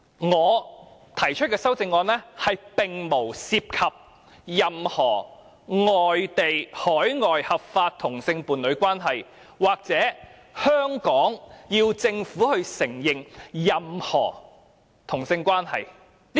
我提出的修正案並無涉及任何外地、海外合法同性伴侶關係，又或要求香港政府承認任何同性關係。